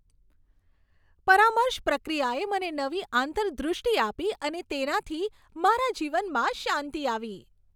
પરામર્શ પ્રક્રિયાએ મને નવી આંતરદૃષ્ટિ આપી અને તેનાથી મારા જીવનમાં શાંતિ આવી.